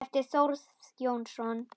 eftir Þórð Jónsson